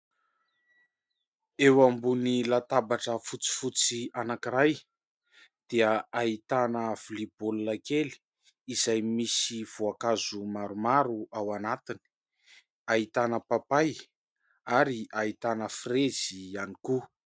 Eo ambony latabatra fotsifotsy anankiray dia ahitana vilia baolina kely, izay misy voankazo maromaro ao anatiny, ahitana papay ary ahitana frezy ihany koa.